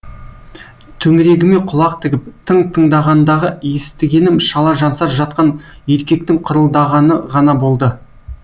төңірегіме құлақ тігіп тың тыңдағандағы естігенім шала жансар жатқан еркектің қырылдағаны ғана болды